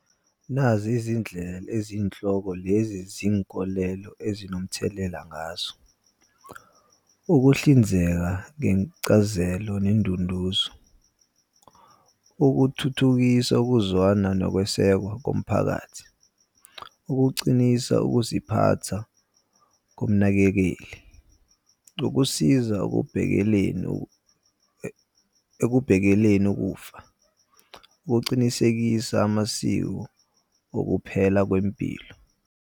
Nazi izindlela eziyinhloko lezi zinkolelo ezinomthelela ngazo. Ukuhlinzeka ngencazelo nendunduzo. Ukuthuthukisa ukuzwana nokwesekwa komphakathi. Ukucinisa ukuziphatha komnakekeli. Ukusiza okubhekeleni ekubhekeleni ukufa. Ukucinisekisa amasiko okuphela kwempilo.